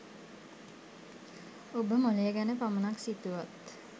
ඔබ මොළය ගැන පමණක් සිතුවත්